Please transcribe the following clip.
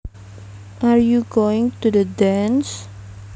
Are you going to the dance